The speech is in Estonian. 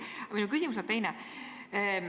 Aga minu küsimus on teine.